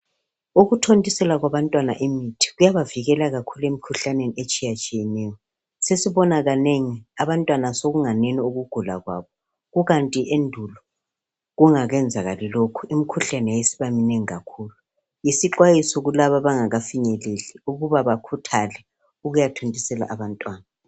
Ukuthontisela kwabantwana imithi kuyabavikela kakhulu emkhuhlaneni etshiyetshiyeneyo. Sesibona kanengi abantwana sokunganeno ukugula kwabo kukanti endulo kungakenzakali lokhu imkhuhlane yayisibamnengi kakhulu. Isixwayiso kulabo abangakafinyeleli ukuba bakhuthale ukuyathontisela abantwana.